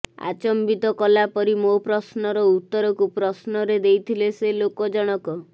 ଆଚମ୍ୱିତ କଲାପରି ମୋ ପ୍ରଶ୍ନର ଉତ୍ତରକୁ ପ୍ରଶ୍ନରେ ଦେଇଥିଲେ ସେ ଲୋକ ଜଣକ